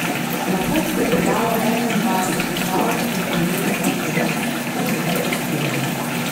Na pot se je podalo enaindvajset krav in plemenskih telic ter nekaj pastirjev.